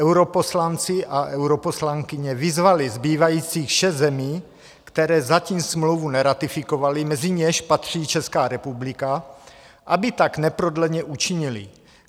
Europoslanci a europoslankyně vyzvali zbývajících šest zemí, které zatím smlouvu neratifikovaly, mezi něž patří Česká republika, aby tak neprodleně učinily.